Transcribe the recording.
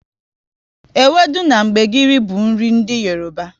Ewudu na gbegiri bụ nri ndị Yoroba